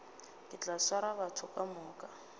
ke tla swara batho kamoka